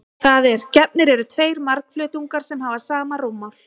Það er: Gefnir eru tveir margflötungar sem hafa sama rúmmál.